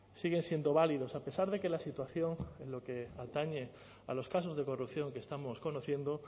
siguen siendo válidos a pesar de que la situación en lo que atañe a los casos de corrupción que estamos conociendo